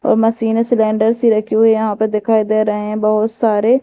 और मशीनें सिलेंडर सी रखी हुई हैं यहां पर दिखाई दे रहें है बहुत सारे--